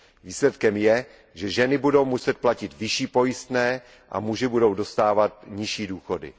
Výsledkem je, že ženy budou muset platit vyšší pojistné a muži budou dostávat nižší důchody.